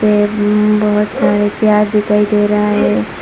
बहुत सारे चार्ट दिखाई दे रहा है।